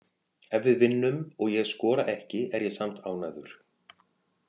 Ef við vinnum og ég skora ekki er ég samt ánægður.